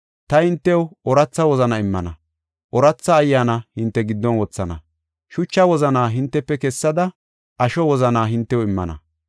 Ta hintew ooratha wozanaa immana; ooratha ayyaana hinte giddon wothana; shucha wozanaa hintefe kessada, asho wozanaa hintew immana.